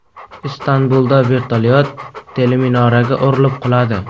Istanbulda vertolyot teleminoraga urilib quladi.